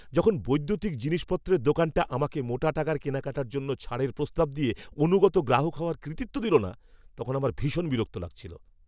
যখন বৈদ্যুতিক জিনিসপত্রের দোকানটা আমাকে মোটা টাকার কেনাকাটার জন্য ছাড়ের প্রস্তাব দিয়ে অনুগত গ্রাহক হওয়ার কৃতিত্ব দিল না, তখন আমার ভীষণ বিরক্ত লাগছিল।